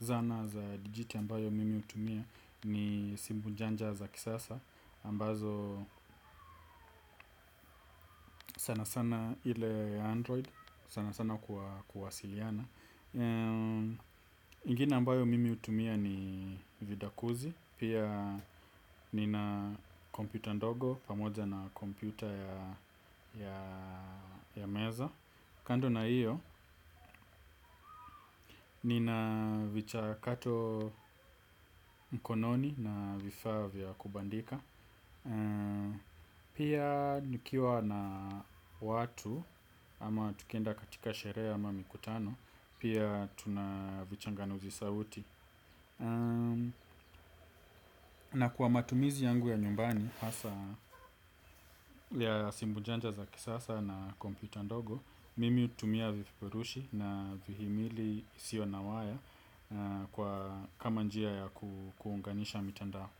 zana za dijiti ambayo mimi hutumia ni simbunjanja za kisasa ambazo sanasana ile ya android sanasana kwa kuwasiliana. Nyingine ambayo mimi hutumia ni vidakuzi. Pia nina kompyuta ndogo pamoja na kompyuta ya meza. Kando na hiyo nina vichakato mkononi na vifaa vya kubandika pia nikiwa na watu ama tukienda katika sherehe ama mikutano pia tuna vichanganuzi sauti na kwa matumizi yangu ya nyumbani hasa ya simbujanja za kisasa na kompyuta ndogo mimi hutumia vifurushi na vihimili isiyo na waya kwa kama njia ya kuunganisha mitandao.